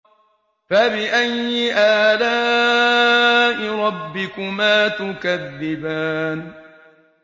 فَبِأَيِّ آلَاءِ رَبِّكُمَا تُكَذِّبَانِ